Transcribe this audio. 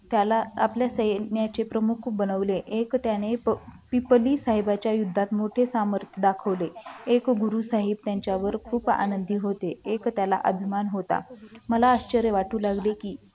त्याला त्याच्या सैन्याचे प्रमुख बनवले साहेबांच्या युद्धात मोठे सामर्थ दाखवले एक गुरु साहेब त्यांच्यावर खूप आनंदित होते एक त्याला अभिमान होता मला आश्चर्य वाटू लागले की